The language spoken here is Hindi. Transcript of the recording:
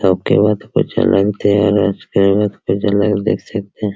के बाद कुछ अलग देख सकते है।